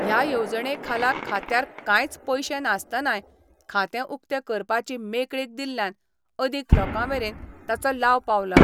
ह्या येवजणे खाला खात्यार कांयच पयशे नासतनांय़ खातें उक्तें करपाची मेकळीक दिल्ल्यान अदीक लोकांमेरेन ताचो लाव पावला.